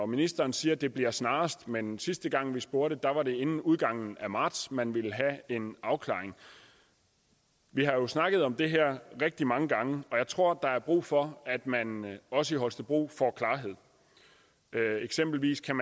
ministeren siger det bliver snarest men sidste gang vi spurgte var det inden udgangen af marts man ville have en afklaring vi har jo snakket om det her rigtig mange gange og jeg tror der er brug for at man også i holstebro får klarhed eksempelvis kan